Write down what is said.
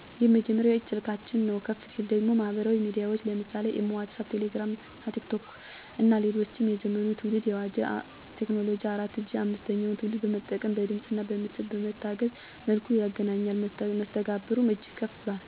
የመጀመሪያው የእጅ ስልካችን ነው። ከፍ ሲል ደግሞ ማህበራዊ ሚዲያዎች ለምሳሌ (ኢሞ ዋትስአፕ ቴሌግራም እና ቲክቶክ ) እና ሌሎችም የዘመኑን ትውልድ የዋጀ ቴክኖሎጂ 4 ጂ 5ተኛውን ትውልድ በመጠቀም በድምፅእና በምስል በታገዘ መልኩ ይገናኛሉ። መስተጋብሩ እጅግ ከፍ ብሏል